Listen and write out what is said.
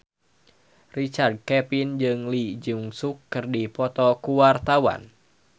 Richard Kevin jeung Lee Jeong Suk keur dipoto ku wartawan